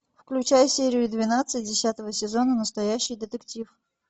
включай серию двенадцать десятого сезона настоящий детектив